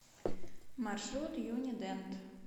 маршрут юни дент